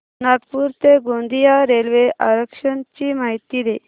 नागपूर ते गोंदिया रेल्वे आरक्षण ची माहिती दे